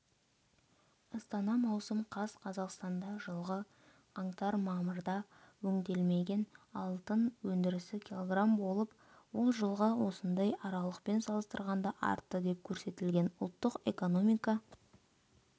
астана маусым қаз қазақстанда жылғы қаңтар-мамырда өңделмеген алтын өндірісі кг болып ол жылғы осындай аралықпен салыстырғанда артты деп көрсетілген ұлттық экономика